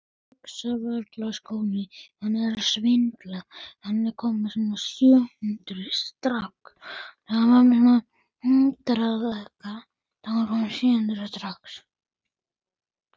Æ, láttu ekki svona Sibbi